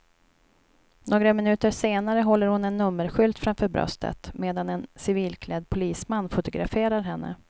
Några minuter senare håller hon en nummerskylt framför bröstet medan en civilklädd polisman fotograferar henne.